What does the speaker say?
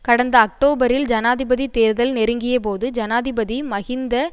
கடந்த அக்டோபரில் ஜனாதிபதி தேர்தல் நெருங்கிய போது ஜனாதிபதி மஹிந்த